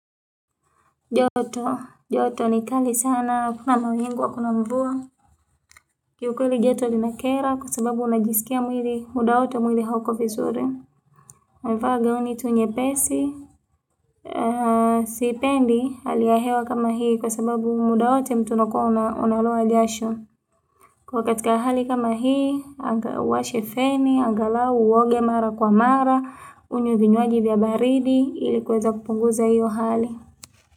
Joto, joto ni kali sana, hakuna mawingu hakuna mvua. Ki ukweli joto limekera kwa sababu unajisikia mwili muda wote mwili hauko vizuri navaa ngauni tu nyepesi. Siipendi hali hewa kama hii kwa sababu muda wote mtu anakuwa analo analoa jasho. Kwa katika hali kama hii, anga washe feni, angalau uwoge mara kwa mara, unywe vinywaji vya baridi, ili kuweza kupunguza hiyo hali.